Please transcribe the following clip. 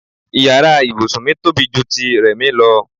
Ìyára ibùsùn mi tóbi ju ti Rẹ̀mí lọ.